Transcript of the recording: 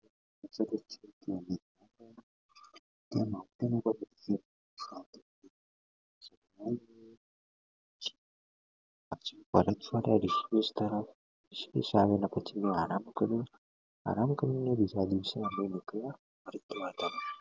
આરામ કરવા ઋષિકેશ આવ્યા ઋષિકેશ આવ્યા પછી પણ આરામ કર્યો આરામ કર્યો ને બીજા દિવસે અમે નીકળ્યા